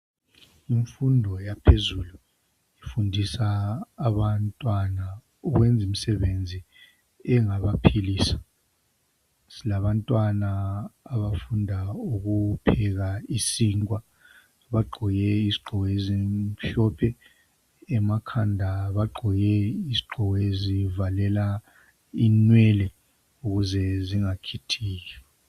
Kumfundo yaphezulu kufundiswa abatwana ukwenza imsebenzi engabaphilisa. Silabantwana abafunda ukupheka isinkwa, bagqoke izigqoko ezimhlophe, emakhanda bagqoke izigqoko ezivalela inwele ukuze zingakhithiki.